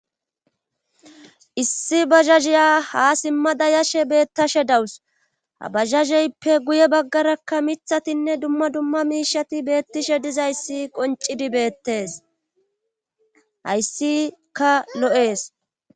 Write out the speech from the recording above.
Issi bajkajiya ha simmada yashe beettashe dawus habajjajeyppe guye baggarakka miiththatinne dumma dumma miishshati beettishe dizayssi qoncidi beettes hayssikka lo'ees